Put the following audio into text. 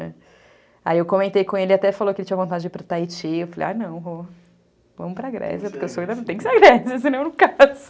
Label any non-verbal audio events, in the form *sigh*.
Aí eu comentei com ele, até falou que ele tinha vontade de ir para o Tahiti, eu falei, ah não, vamos para a Grécia, *laughs* porque o sonho ainda não tem que ser a Grécia, senão eu não caso.